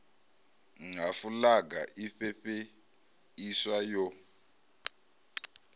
nha fulaga i fhefheiswa yo